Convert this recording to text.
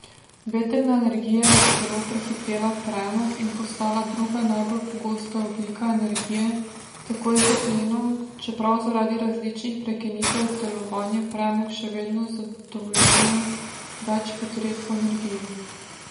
Vetrna energija je celo prehitela premog in postala druga najbolj pogosta oblika energije, takoj za plinom, čeprav zaradi različnih prekinitev delovanja premog še vedno zadovoljuje več potreb po energiji.